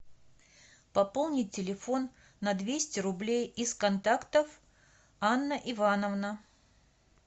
пополнить телефон на двести рублей из контактов анна ивановна